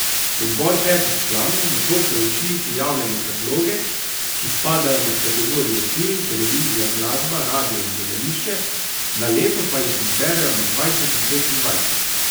Odbor petih članov nato preuči prijavljene predloge, ki spadajo med kategorije film, televizija, glasba, radio in gledališče, na leto pa jih izberejo med dvajset in petindvajset.